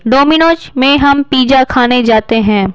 Domino's में हम pizza खाने जाते हैं।